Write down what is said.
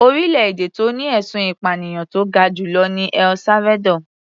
Orílẹ̀-èdè tó ní ẹ̀sùn ìpànìyàn tó ga jù lọ ni El Salvador.